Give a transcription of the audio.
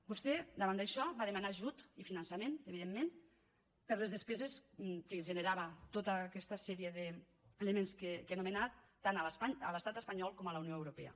vostè davant d’això va demanar ajut i finançament evidentment per a les despeses que generava tota aquesta sèrie d’elements que he anomenat tant a l’estat espanyol com a la unió europea